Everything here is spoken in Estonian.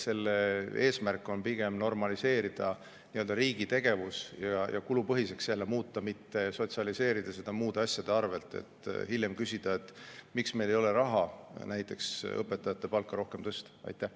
Selle eesmärk on pigem normaliseerida nii-öelda riigi tegevus ja jälle kulupõhiseks muuta, mitte sotsialiseerida seda muude asjade arvel, et hiljem küsida, miks meil ei ole raha näiteks õpetajate palga tõstmiseks.